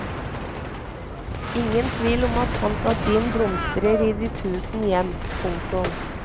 Ingen tvil om at fantasien blomstrer i de tusen hjem. punktum